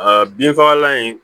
A binfagalan in